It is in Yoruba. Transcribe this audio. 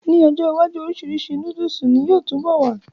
N ọjọ́ iwájú, orisirisi nóódùsì ni yóò túbọ̀ wà